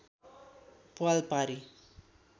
प्वाल पारी